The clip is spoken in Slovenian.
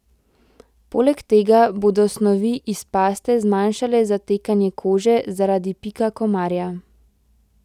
Poleg tega bodo snovi iz paste zmanjšale zatekanje kože zaradi pika komarja.